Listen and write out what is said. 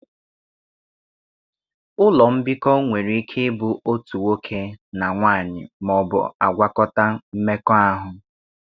Ụlọ mbikọ nwere ike ịbụ otu nwoke na nwanyị ma ọ bụ agwakọta-mmekọahụ.